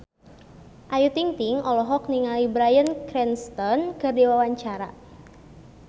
Ayu Ting-ting olohok ningali Bryan Cranston keur diwawancara